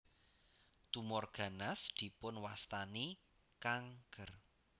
Tumor ganas dipun wastani kanker